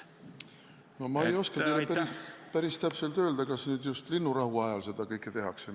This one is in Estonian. No ma ei oska teile päris täpselt öelda, kas nüüd just linnurahu ajal seda kõike tehakse.